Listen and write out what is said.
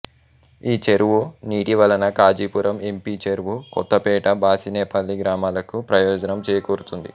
ఈ చెరువు నీటి వలన ఖాజీపురం ఎంపీచెరువు కొత్తపేట బసినేపల్లి గ్రామాలకు ప్రయోజనం చేకూరుతుంది